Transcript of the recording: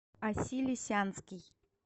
аси лисянский